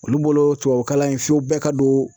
Olu bolo tubabukalan in fo bɛɛ ka don